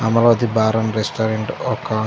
Amaravati bar and restaurant ఒక --